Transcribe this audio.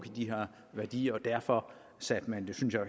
i de her værdier og derfor satte man det